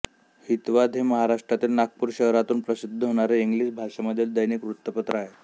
हितवाद हे महाराष्ट्रातील नागपूर शहरातून प्रसिद्ध होणारे इंग्लिश भाषेमधील दैनिक वृत्तपत्र आहे